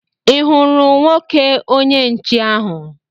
Ị hụrụ nwoke onye nche ahụ?